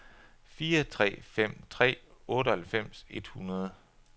fire tre fem tre otteoghalvfems et hundrede